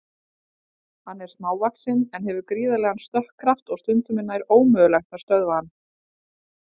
Hann er smávaxinn en hefur gríðarlegan stökkkraft og stundum er nær ómögulegt að stöðva hann.